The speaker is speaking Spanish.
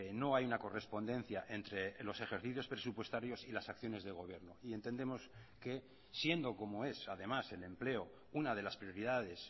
no hay una correspondencia entre los ejercicios presupuestarios y las acciones de gobierno y entendemos que siendo como es además el empleo una de las prioridades